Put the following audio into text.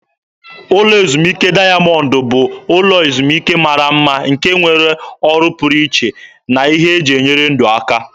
Ụlọ ezumike dayamọndụ bụ ụlọ ezumike mara mma nke nwere ọrụ pụrụ iche na ihe eji enyere ndụ aka.